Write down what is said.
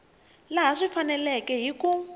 laha swi faneleke hi ku